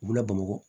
U bɛna bamakɔ